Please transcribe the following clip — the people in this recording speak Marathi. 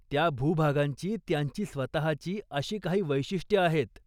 त्या भूभागांची त्यांची स्वतःची अशी काही वैशिष्ट्यं आहेत.